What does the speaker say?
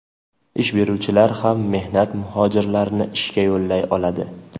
Ish beruvchilar ham mehnat muhojirlarini ishga yollay oladi.